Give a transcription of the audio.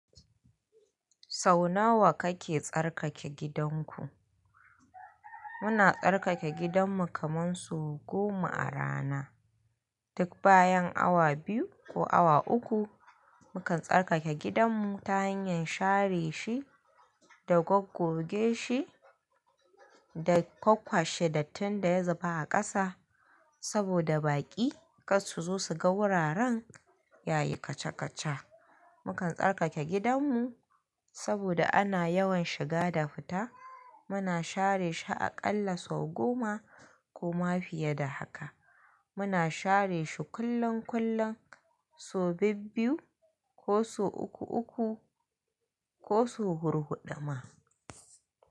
Sau nawa kake tsarkake gidanku? Muna tsarkake gidanmu kaman sau goma a rana. Duk bayan awa biyu ko awa uku, mukan tsarkake gidanmu ta hanyar share shi da goggoge shi da kwakwa she, dattin da ya zuba a ƙasa. Saboda baƙi ƙas su zo su ga wuraran yayi kaca-kaca. Mukan tsarkake gidanmu saboda ana yawan shiga da fita. Muna share shi aƙalla sau goma ko ma fiye da haka. Muna share shi kullon kullon, so bibbiyu ko so uku-uku ko so hur huɗuma.